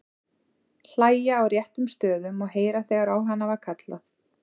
Hlæja á réttum stöðum og heyra þegar á hana var kallað.